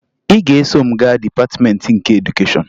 Ị ga-eso m gaa Dịpatịmeentị nke Edukeshọn